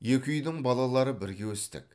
екі үйдің балалары бірге өстік